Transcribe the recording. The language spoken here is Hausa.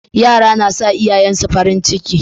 Yara na sa iyayen su farin ciki